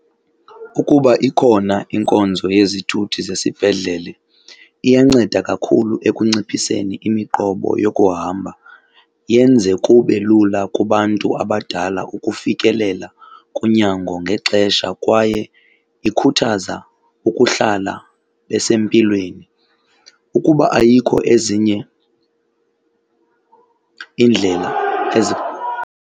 Ukuba ikhona inkonzo yezithuthi zesibhedlele, iyanceda kakhulu ekunciphiseni imiqobo yokuhamba, yenze kube lula kubantu abadala ukufikelela kunyango ngexesha kwaye ikhuthaza ukuhlala besempilweni. Ukuba ayikho, ezinye iindlela ezi.